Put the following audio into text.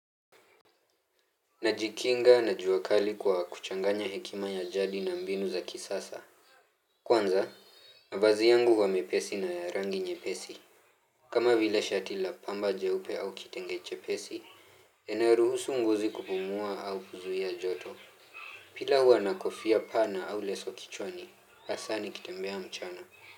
Najikinga na jua kali kwa kuchanganya hekima ya jadi na mbinu za kisasa. Kwanza, mavazi yangu huwa mepesi na ya rangi nyepesi. Kama vile shati la pamba jeupe au kitenge chepesi, yanayoruhusu ngozi kupumua au kuzuia joto. Pia huwa na kofia pana au leso kichwani, hasa nikitembea mchana.